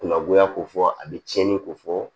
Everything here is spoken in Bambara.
Kunakoya ko fɔ a be tiɲɛni ko fɔ